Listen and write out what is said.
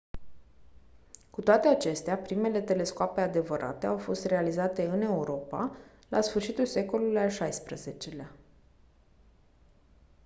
cu toate acestea primele telescoape adevărate au fost realizate în europa la sfârșitul secolului al xvi-lea